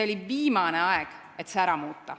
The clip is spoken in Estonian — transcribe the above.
On viimane aeg see ära muuta.